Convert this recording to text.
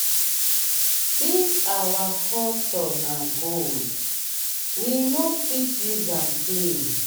this our culture na gold we no fit use am play.